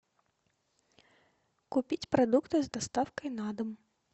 купить продукты с доставкой на дом